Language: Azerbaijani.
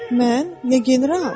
Mən, ya general?